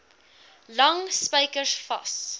lang spykers vas